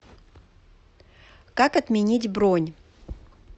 как отменить бронь